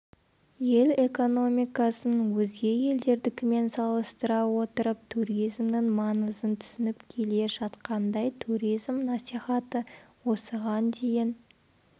ел экономикасын өзге елдердікімен салыстыра отырып туризмнің маңызын түсініп келе жатқандай туризм насихаты осыған дейін